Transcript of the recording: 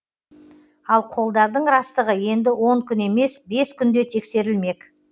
ал қолдардың растығы енді он күн емес бес күнде тексерілмек